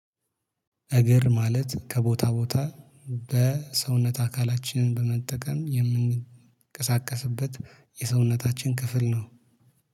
እግር ማለት ከቦታ ቦታ በሰውነት አካላችንን በመጠቀም የምንቀሳቀስበት የሰውነታችን ክፍል ነው